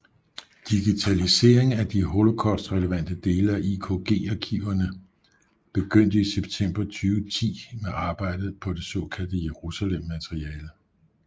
Digitalisering af de Holocaust relevante dele af IKG arkiverne begyndte i september 2010 med arbejdet på det såkaldte Jerusalem materiale